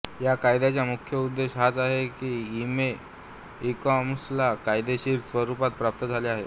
या कायद्याचा मुख्य उद्देश हाच आहे की ई कॉमर्सला कायदेशीर स्वरूप प्राप्त झाले आहे